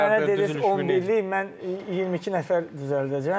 Düzülüş düz 11-lik mən 22 nəfər düzəldəcəm,